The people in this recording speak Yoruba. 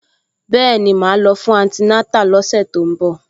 Bẹ́ẹ̀ni, màá lọ fún antinátà lọ́sẹ̀ tó ń bọ̀